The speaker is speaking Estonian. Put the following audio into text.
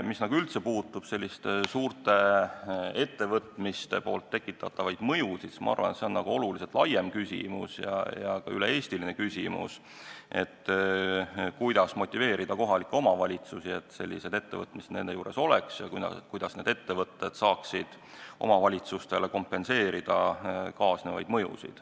Mis üldse puudutab selliste suurte ettevõtete tekitatavaid mõjusid, siis ma arvan, et see on oluliselt laiem küsimus ja üle-eestiline küsimus, kuidas motiveerida kohalikke omavalitsusi, et sellised ettevõtted nende territooriumil oleks, ja kuidas need ettevõtted saaksid omavalitsustele kompenseerida kaasnevaid mõjusid.